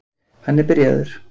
Hann er byrjaður.